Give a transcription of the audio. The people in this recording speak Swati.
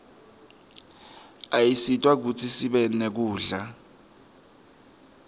ayasisita kutsi sibe nekudla